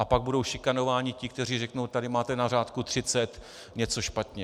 A pak budou šikanováni ti, kteří řeknou: Tady máte na řádku 30 něco špatně.